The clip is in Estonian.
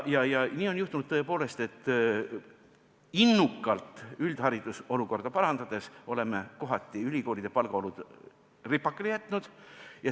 Ja nii on juhtunud tõepoolest, et innukalt üldhariduse olukorda parandades oleme kohati ülikoolide palgaolud ripakile jätnud.